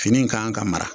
Fini in kan ka mara